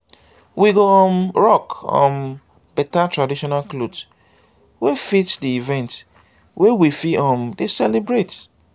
we go um rock um better traditional cloth wey fit di event wey we um dey celebrate